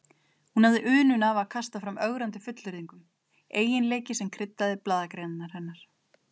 Hún hafði unun af að kasta fram ögrandi fullyrðingum, eiginleiki sem kryddaði blaðagreinarnar hennar.